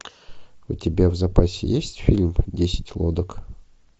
у тебя в запасе есть фильм десять лодок